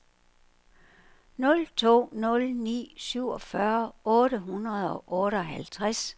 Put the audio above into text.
nul to nul ni syvogfyrre otte hundrede og otteoghalvtreds